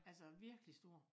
Altså virkelig stor